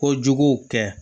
Ko juguw kɛ